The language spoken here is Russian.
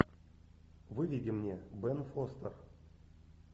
выведи мне бен фостер